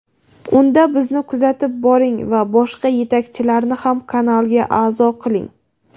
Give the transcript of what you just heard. Unda bizni kuzatib boring va boshqa yetakchilarni ham kanalga a’zo qiling.